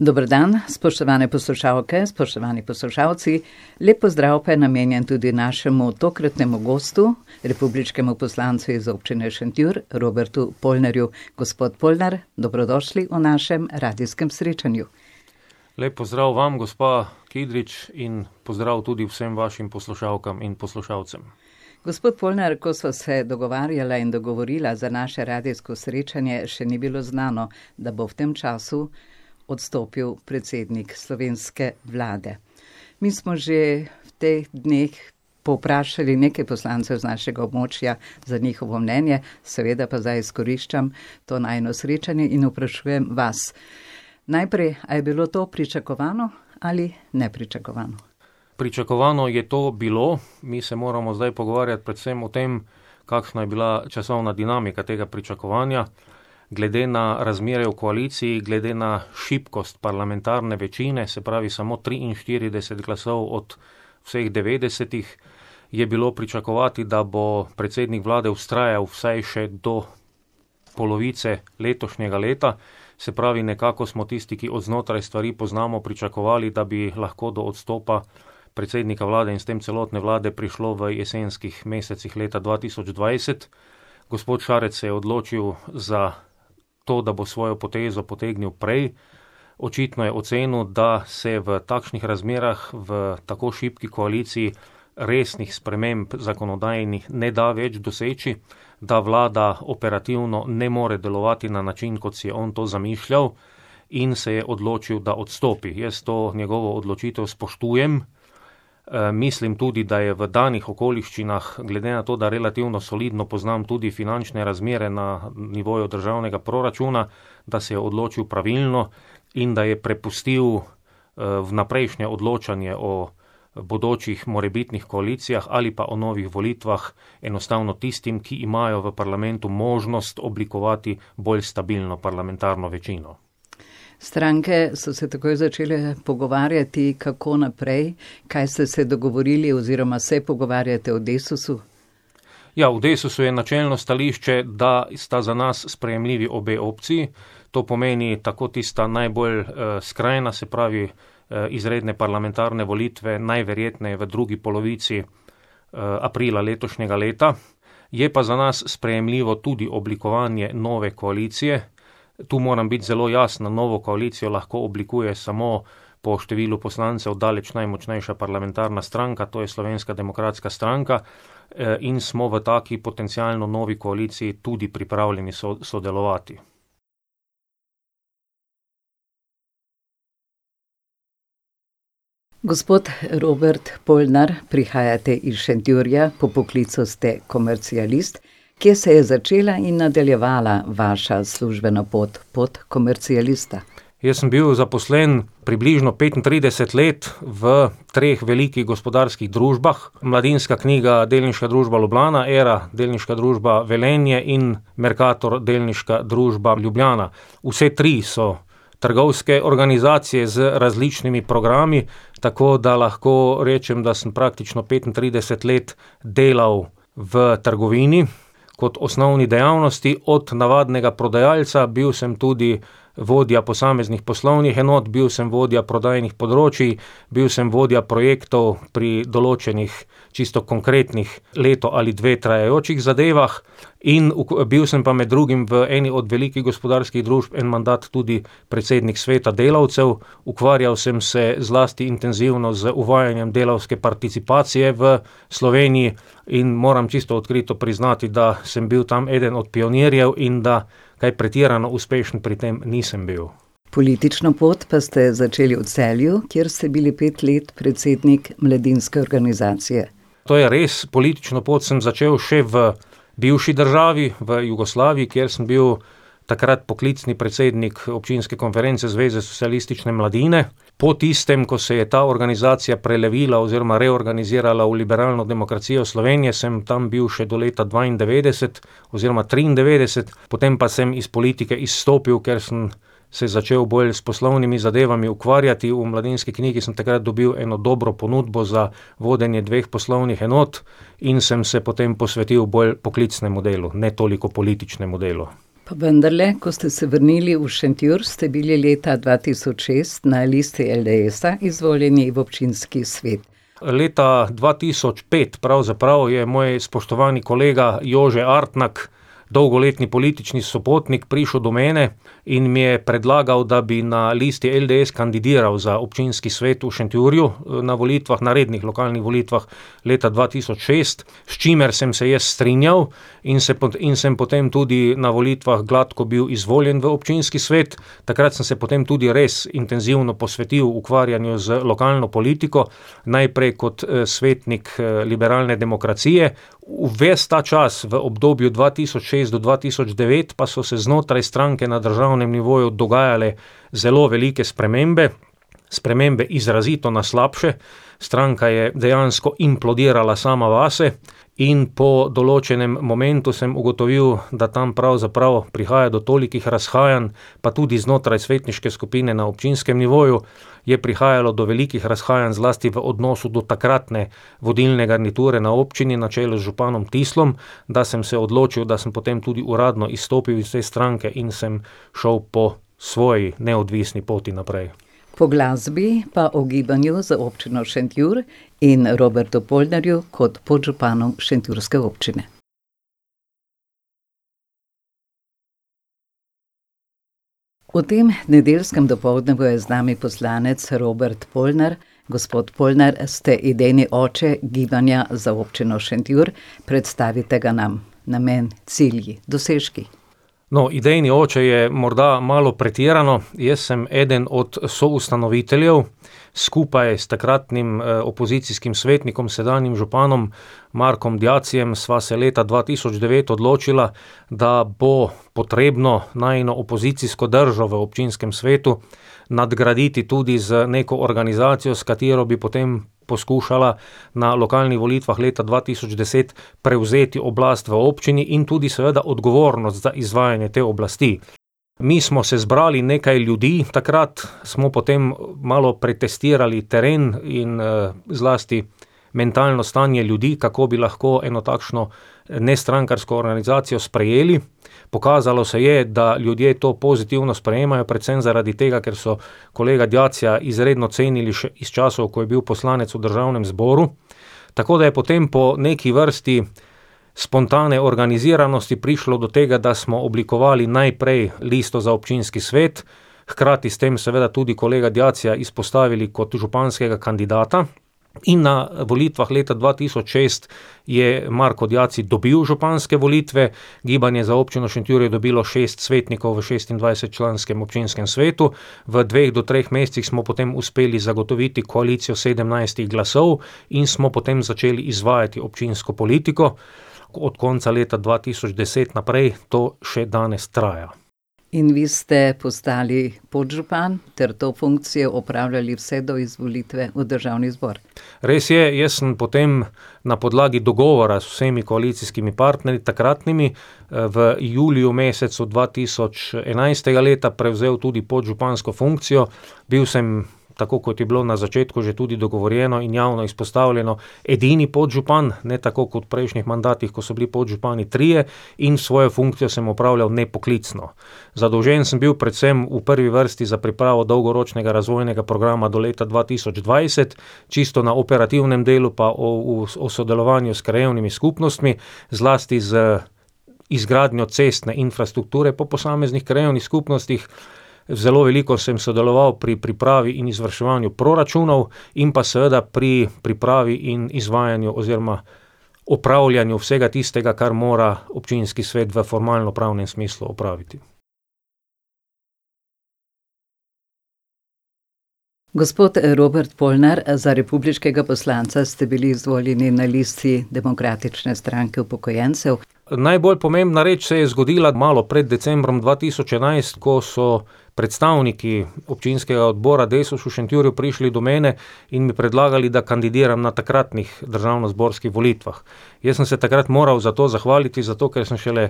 Dober dan, spoštovane poslušalke, spoštovani poslušalci, lep pozdrav pa je namenjen tudi našemu tokratnemu gostu, republiškemu poslancu iz Občine Šentjur, Robertu Polnarju. Gospod Polnar, dobrodošli v našem radijskem srečanju. Lep pozdrav vam, gospa Kidrič, in pozdrav tudi vsem vašim poslušalkam in poslušalcem. Gospod Polnar, ko sva se dogovarjala in dogovorila za naše radijsko srečanje, še ni bilo znano, da bo v tem času odstopil predsednik slovenske vlade. Mi smo že v teh dneh povprašali nekaj poslancev z našega območja za njihovo mnenje, seveda pa zdaj izkoriščam to najino srečanje in vprašujem vas. Najprej, a je bilo to pričakovano ali nepričakovano? Pričakovano je to bilo, mi se moramo zdaj pogovarjati predvsem o tem, kakšna je bila časovna dinamika tega pričakovanja. Glede na razmere v koaliciji, glede na šibkost parlamentarne večine, se pravi samo triinštirideset glasov od vseh devetdesetih je bilo pričakovati, da bo predsednik vlade vztrajal vsaj še do polovice letošnjega leta. Se pravi, nekako smo tisti, ki od znotraj stvari poznamo, pričakovali, da bi lahko do odstopa predsednika vlade in s tem celotne vlade prišlo v jesenskih mesecih leta dva tisoč dvajset. Gospod Šarec se je odločil za to, da bo svojo potezo potegnil prej. Očitno je ocenil, da se v takšnih razmerah, v tako šibki koaliciji, resnih sprememb zakonodajnih ne da več doseči, da vlada operativno ne more delovati na način, kot si je on to zamišljal, in se je odločil, da odstopi. Jaz to njegovo odločitev spoštujem, mislim tudi, da je v danih okoliščinah, glede na to, da relativno solidno poznam tudi finančne razmere na nivoju državnega proračuna, da se je odločil pravilno in da je prepustil, vnaprejšnje odločanje o bodočih morebitnih koalicijah ali pa o novih volitvah enostavno tistim, ki imajo v parlamentu možnost oblikovati bolj stabilno parlamentarno večino. Stranke so se takoj začele pogovarjati, kako naprej. Kaj ste se dogovorili oziroma se pogovarjate v Desusu? Ja, v Desusu je načelno stališče, da sta za nas sprejemljivi obe opciji. To pomeni tako tista najbolj, skrajna, se pravi, izredne parlamentarne volitve, najverjetneje v drugi polovici, aprila letošnjega leta, je pa za nas sprejemljivo tudi oblikovanje nove koalicije. Tu moram biti zelo jasen, novo koalicijo lahko oblikuje samo po številu poslancev daleč najmočnejša parlamentarna stranka, to je Slovenska demokratska stranka, in smo v taki potencialno novi koaliciji tudi pripravljeni sodelovati. Gospod Robert Polnar, prihajate iz Šentjurja, po poklicu ste komercialist. Kje se je začela in nadaljevala vaša službena pot, pot komercialista? Jaz sem bil zaposlen približno petintrideset let v treh velikih gospodarskih družbah, Mladinska knjiga, delniška družba, Ljubljana, Era, delniška družba, Velenje, in Mercator, delniška družba, Ljubljana. Vse tri so trgovske organizacije z različnimi programi. Tako da lahko rečem, da sem praktično petintrideset let delal v trgovini kot osnovi dejavnosti, od navadnega prodajalca, bil sem tudi vodja posameznih poslovnih enot, bil sem vodja prodajnih področij, bil sem vodja projektov pri določenih čisto konkretnih leto ali dve trajajočih zadevah in bil sem pa med drugim v eni od velikih gospodarskih družb, en mandat tudi predsednik Sveta delavcev. Ukvarjal sem se zlasti intenzivno z uvajanjem delavske participacije v Sloveniji in moram čisto odkrito priznati, da sem bil tam eden od pionirjev in da kaj pretirano uspešen pri tem nisem bil. Politično pot pa ste začeli v Celju, kjer ste bili pet let predsednik mladinske organizacije. To je res, politično pot sem začel še v bivši državi, v Jugoslaviji, kjer sem bil takrat poklicni predsednik občinske konference Zveze socialistične mladine. Po tistem, ko se je ta organizacija prelevila oziroma reorganizirala v Liberalno demokracijo Slovenije, sem tam bil še do leta dvaindevetdeset oziroma triindevetdeset. Potem pa sem iz politike izstopil, ker sem se začel bolj s poslovnimi zadevami ukvarjati, v Mladinski knjigi sem takrat dobil eno dobro ponudbo za vodenje dveh poslovnih enot in sem se potem posvetil bolj poklicnemu delu, ne toliko političnemu delu. Vendarle, ko ste se vrnili v Šentjur, ste bili leta dva tisoč šest na Listi LDS-a izvoljeni v občinski svet. Leta dva tisoč pet pravzaprav je moj spoštovani kolega Jože Artnak, dolgoletni politični sopotnik, prišel do mene in mi je predlagal, da bi na listi LDS kandidiral za občinski svet v Šentjurju, na volitvah, na rednih vokalnih volitvah leta dva tisoč šest, s čimer sem se jaz strinjal in se in sem potem tudi na volitvah gladko bil izvoljen v občinski svet. Takrat sem se potem tudi res intenzivno posvetil ukvarjanju z lokalno politiko, najprej kot, svetnik, Liberalne demokracije. Ves ta čas, v obdobju dva tisoč šest do dva tisoč devet, pa so se znotraj stranke na državnem nivoju dogajale zelo velike spremembe. Spremembe izrazito na slabše. Stranka je dejansko implodirala sama vase in po določenem momentu sem ugotovil, da tam pravzaprav prihaja do tolikih razhajanj, pa tudi znotraj svetniške skupine na občinskem nivoju je prihajalo do velikih razhajanj, zlasti v odnosu do takratne vodilne garniture na občini, na čelu z županom Dislom, da sem se odločil, da sem potem tudi uradno izstopil iz te stranke in sem šel po svoji, neodvisni poti naprej. Po glasbi pa o Gibanju za Občino Šentjur in Robertu Polnarju kot podžupanu šentjurske občine. V tem nedeljskem dopoldnevu je z nami poslanec Robert Polnar. Gospod Polnar, ste idejni oče Gibanja za Občino Šentjur. Predstavite ga nam, namen, cilji, dosežki. No, idejni oče je morda malo pretirano. Jaz sem eden od soustanoviteljev. Skupaj s takratnim, opozicijskim svetnikom, sedanjim županom Markom Diacijem sva se leta dva tisoč devet odločila, da bo potrebno najino opozicijsko držo v občinskem svetu nadgraditi tudi z neko organizacijo, s katero bi potem poskušala na lokalnih volitvah leta dva tisoč deset prevzeti oblast v občini in tudi seveda odgovornost za izvajanje te oblasti. Mi smo se zbrali, nekaj ljudi, takrat smo potem malo pretestirali teren in, zlasti mentalno stanje ljudi, kako bi lahko eno takšno nestrankarsko organizacijo sprejeli. Pokazalo se je, da ljudje to pozitivno sprejemajo, predvsem zaradi tega, ker so kolega Diacija izredno cenili še iz časov, ko je bil poslanec v državnem zboru. Tako da je potem po neki vrsti spontane organiziranosti prišlo do tega, da smo oblikovali najprej listo za občinski svet, hkrati s tem seveda tudi kolega Diacija izpostavili kot županskega kandidata. In na volitvah dva tisoč šest je Marko Diaci dobil županske volitve, Gibanje za Občino Šentjur je dobilo šest svetnikov v šestindvajsetčlanskem občinskem svetu, v dveh do treh mesecih smo potem uspeli zagotoviti koalicijo sedemnajstih glasov in smo potem začeli izvajati občinsko politiko. od konca leta dva tisoč deset naprej to še danes traja. In vi ste postali podžupan ter to funkcijo opravljali vse do izvolitve v državni zbor. Res je, jaz sem potem na podlagi dogovora z vsemi koalicijskimi partnerji takratnimi, v juliju mesecu dva tisoč enajstega leta prevzel tudi podžupansko funkcijo. Bil sem, tako kot je bilo na začetku že tudi dogovorjeno in javno izpostavljeno, edini podžupan, ne tako kot v prejšnjih mandatih, ko so bili podžupani trije, in svojo funkcijo sem opravljal nepoklicno. Zadolžen sem bil predvsem v prvi vrsti za pripravo dolgoročnega razvojnega programa do leta dva tisoč dvajset, čisto na operativnem delu pa o sodelovanju s krajevnimi skupnostmi, zlasti z izgradnjo cestne infrastrukture po posameznih krajevnih skupnostih, zelo veliko sem sodeloval pri pripravi in izvrševanju proračunov in pa seveda pri pripravi in izvajanju oziroma opravljanju vsega tistega, kar mora občinski svet v formalnopravnem smislu opraviti. Gospod Robert Polnar, za republiškega poslanca ste bili izvoljeni na listi Demokratične stranke upokojencev. Najbolj pomembna reči se je zgodila malo pred decembrom dva tisoč enajst, ko so predstavniki občinskega odbora Desus v Šentjurju prišli do mene in mi predlagali, da kandidiram na takratnih državnozborskih volitvah. Jaz sem se takrat moral za to zahvaliti, zato ker sem šele